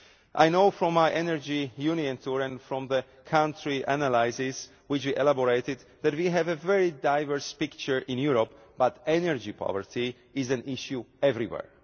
I know from my Energy Union Tour and from the country analyses which we drew up, that we have a very diverse picture in Europe but energy poverty is an issue everywhere.